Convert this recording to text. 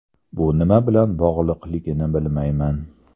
Bu nima bilan bog‘liqligini bilmayman.